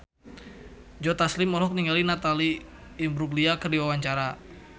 Joe Taslim olohok ningali Natalie Imbruglia keur diwawancara